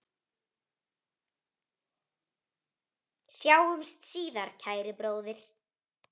Sjáumst síðar, kæri bróðir.